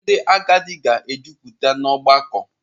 Ndị agadi ga-ejupụta n’ọgbakọ.